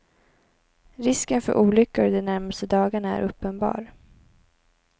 Risken för olyckor de närmaste dagarna är uppenbar.